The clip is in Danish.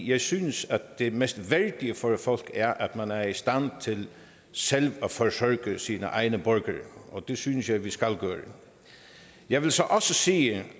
jeg synes det mest værdige for et folk er at man er i stand til selv at forsørge sine egne borgere og det synes jeg vi skal gøre jeg vil så også sige at